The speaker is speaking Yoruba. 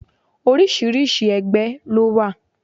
Oríṣiríṣi ẹgbẹ́ lówà.